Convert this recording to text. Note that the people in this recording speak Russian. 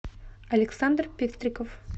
александр пестриков